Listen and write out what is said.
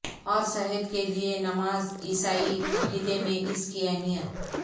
اور صحت کے لئے نماز عیسائی عقیدے میں اس کی اہمیت